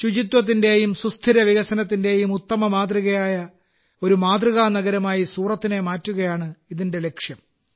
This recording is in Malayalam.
ശുചിത്വത്തിന്റെയും സുസ്ഥിര വികസനത്തിന്റെയും ഉത്തമ മാതൃകയായ ഒരു മാതൃകാ നഗരമായി സൂറത്തിനെ മാറ്റുകയാണ് ഇതിന്റെ ലക്ഷ്യം